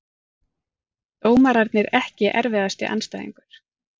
Dómararnir EKKI erfiðasti andstæðingur?